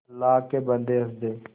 अल्लाह के बन्दे हंस दे